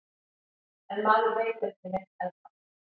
En maður veit ekki neitt ennþá